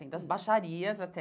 Tem das baixarias até.